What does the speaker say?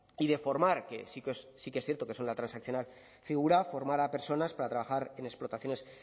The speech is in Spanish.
y de formar que sí que es cierto que eso en la transaccional figura formar a personas para trabajar en explotaciones